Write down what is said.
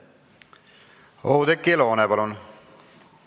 Oudekki Loone, palun!